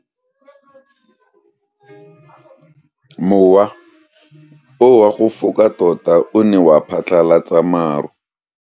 Mowa o wa go foka tota o ne wa phatlalatsa maru.